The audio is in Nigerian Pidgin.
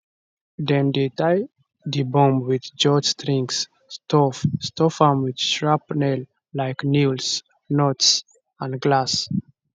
dem dey tie di bomb wit jute strings stuff stuff am wit shrapnellike nails nuts and glass